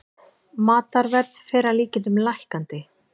Matarverð fer að líkindum lækkandi